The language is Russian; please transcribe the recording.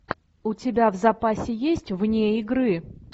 у тебя в запасе есть вне игры